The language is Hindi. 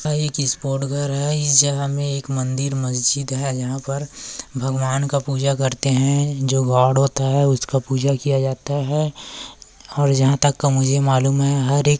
यां एक स्पॉट घर है। इस जगह में एक मंदिर मस्जिद है। यहाँ पर भगवान का पूजा करते है। जो गॉड होता है उसका पूजा किया जाता है। और जहाँ तक का मुझे मालूम है हर एक--